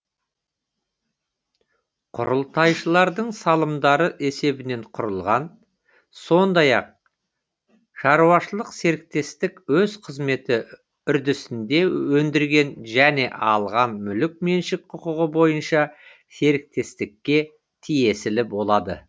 құрылтайшылардың салымдары есебінен құрылған сондай ақ шаруашылық серіктестік өз қызметі үрдісінде өндірген және алған мүлік меншік құқығы бойынша серіктестікке тиесілі болады